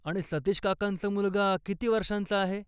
आणि सतीश काकांचा मुलगा किती वर्षांचा आहे?